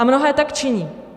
A mnohé tak činí.